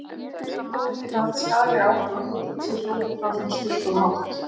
Heyrnartól geta haft skaðleg áhrif á heyrn, sé hljóðið frá þeim stillt of hátt.